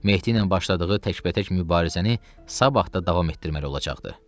Mehdi ilə başladığı təkbətək mübarizəni sabah da davam etdirməli olacaqdı.